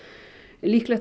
líklegt